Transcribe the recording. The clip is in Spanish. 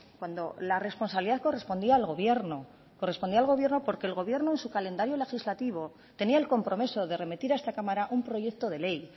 cuando la responsabilidad correspondía al gobierno correspondía al gobierno porque el gobierno en su calendario legislativo tenía el compromiso de remitir a esta cámara un proyecto de ley